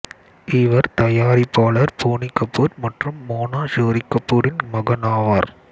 இவர் தயாரிப்பாளர் போனி கபூர் மற்றும் மோனா ஷோரி கபூர்வின் மகன் ஆவார்